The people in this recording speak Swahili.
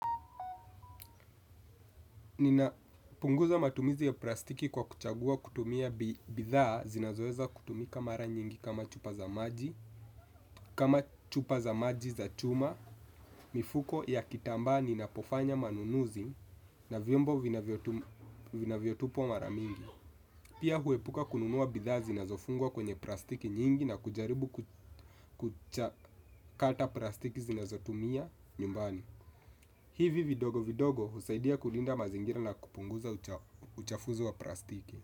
Ninapunguza matumizi ya plastiki kwa kuchagua kutumia bidhaa zinazoweza kutumika mara nyingi kama chupa za maji, kama chupa za maji za chuma, mifuko ya kitambaa ninapofanya manunuzi na vyombo vinavyotupwa mara mingi. Pia huepuka kununua bidhaa zinazofungwa kwenye plastiki nyingi na kujaribu kuchakata plastiki zinazotumia nyumbani. Hivi vidogo vidogo husaidia kulinda mazingira na kupunguza uchafuzi wa plastiki.